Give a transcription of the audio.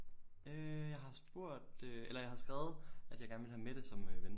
Øh jeg har spurgt øh eller jeg har skrevet at jeg gerne ville have Mette som øh ven